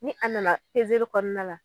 Ni a nana kɔnɔna la.